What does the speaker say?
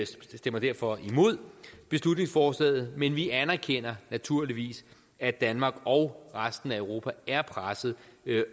stemmer derfor imod beslutningsforslaget men vi anerkender naturligvis at danmark og resten af europa er presset